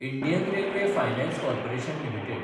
Indian railway finance corporation limited